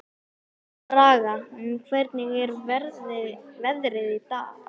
Braga, hvernig er veðrið í dag?